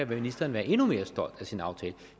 ministeren være endnu mere stolt af sin aftale